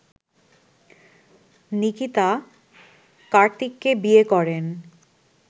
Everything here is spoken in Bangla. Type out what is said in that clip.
নিকিতা কার্তিককে বিয়ে করেন